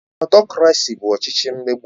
Ọtokrasi bụ ọchịchị mmegbu